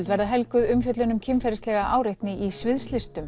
verða helguð umfjöllun um kynferðislega áreitni í sviðslistum